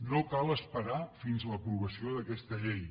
no cal esperar fins a l’aprovació d’aquesta llei